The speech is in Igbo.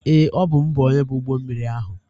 Ee, ọ bụ m bụ onye bu ụgbọ mmiri ahụ.